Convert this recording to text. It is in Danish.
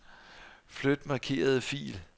Flyt markerede fil.